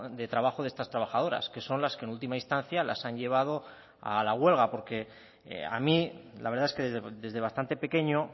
de trabajo de estas trabajadoras que son las que en última instancia las han llevado a la huelga porque a mí la verdad es que desde bastante pequeño